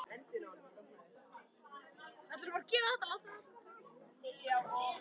Það er aftur komið að ræðu og sem betur fer er þessi líka bara örstutt.